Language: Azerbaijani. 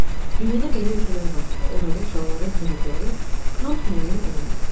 Dünyada belə ölkələr var ki, orada uşaqların hüquqları tam təmin olunmur.